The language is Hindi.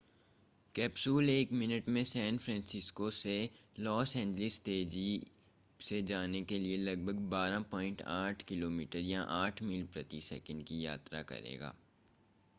कैप्सूल एक मिनट में सैन फ़्रांसिस्को से लॉस एंजिलस तेज़ी से जाने के लिए लगभग 12.8 किमी या 8 मील प्रति सेकंड की यात्रा करेगा